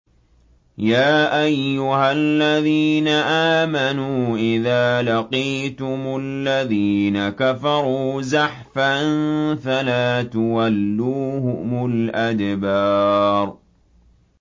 يَا أَيُّهَا الَّذِينَ آمَنُوا إِذَا لَقِيتُمُ الَّذِينَ كَفَرُوا زَحْفًا فَلَا تُوَلُّوهُمُ الْأَدْبَارَ